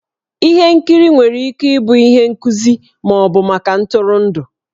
Ihe nkiri nwere ike ịbụ ihe nkuzi ma ọ bụ maka ntụrụndụ.